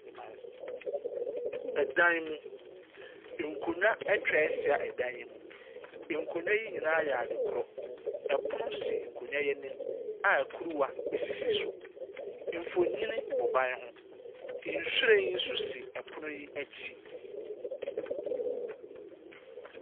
Dea mayɛ so Ɛdan mu. Nkonnwa atwahyia ɛdan yi mu. Nkonnwa yi nyinaa yɛ adekorɔ. Ɛpono si nkonnwa yi anim a kuruwa esisi so. Nfonni bɔ ban ho. Nhwiren nso si ɛpono n'akyi.